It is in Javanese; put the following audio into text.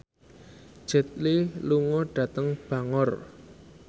Jet Li lunga dhateng Bangor